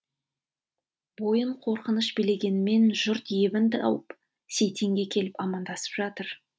бойын қорқыныш билегенмен жұрт ебін тауып сейтенге келіп амандасып жатыр